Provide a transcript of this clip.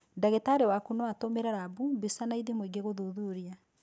Ndagĩtarĩ waku no atũmĩre rabu, mbica na ithimo ingĩ gũthuthuria.